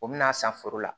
O bɛna san foro la